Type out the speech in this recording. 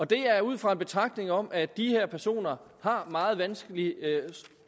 det er ud fra en betragtning om at de her personer har meget vanskeligt